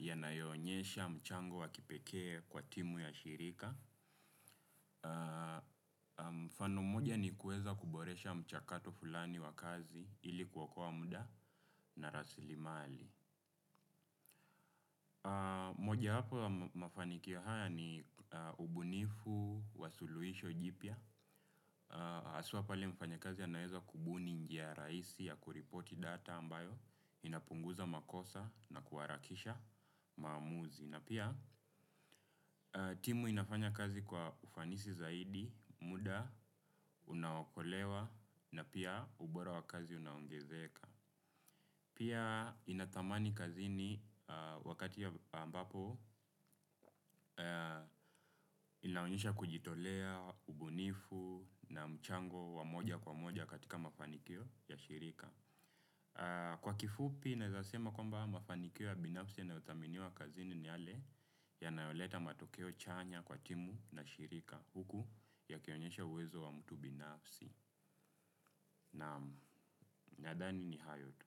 yanayoonyesha mchango wa kipekee kwa timu ya shirika. Mfano mmoja ni kuweza kuboresha mchakato fulani wa kazi ili kuokoa muda na rasilimali. Moja wapo ya mafanikio haya ni ubunifu wa suluhisho jipya haswa pale mfanyikazi anaeza kubuni njia rahisi ya kuripoti data ambayo inapunguza makosa na kuharakisha maamuzi na pia timu inafanya kazi kwa ufanisi zaidi, muda, unaokolewa. Na pia ubora wa kazi unaongezeka. Pia inathamani kazini wakati ambapo inaonyesha kujitolea ubunifu na mchango wa moja kwa moja katika mafanikio ya shirika. Kwa kifupi, naezasema kwamba mafanikio ya binafsi yanayothaminiwa kazini ni yale yanayoleta matokeo chanya kwa timu na shirika huku yakionyesha uwezo wa mtu binafsi. Naam nadhani ni hayo tu.